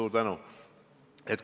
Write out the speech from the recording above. Suur tänu!